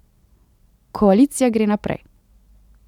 Koalicija gre naprej.